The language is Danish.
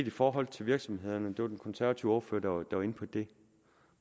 i forhold til virksomhederne det var den konservative ordfører der var der var inde på det